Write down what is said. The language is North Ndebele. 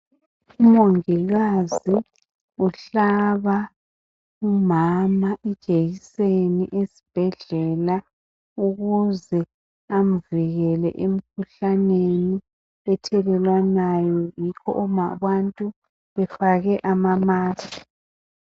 Umongikazi uhlaba umama ijekiseni esibhedlela ukuze amvikele emkhuhlaneni ethelelwanayo yikho abantu befake ama mask.